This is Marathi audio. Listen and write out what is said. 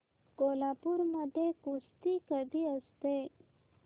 कोल्हापूर मध्ये कुस्ती कधी असते